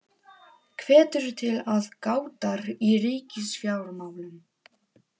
Hvetur til aðgátar í ríkisfjármálum